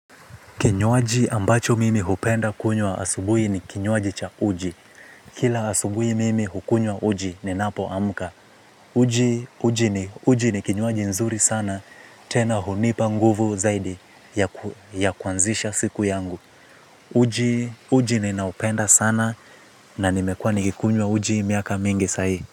Kinywaji ambacho mimi hupenda kunywa asubui ni kinywaji cha uji. Kila asubui mimi hukunywa uji ninapoamka. Uji ni kinywaji nzuri sana tena hunipa nguvu zaidi ya kuanzisha siku yangu. Uji ninaupenda sana na nimekuwa nikikunywa uji miaka mingi zaidi.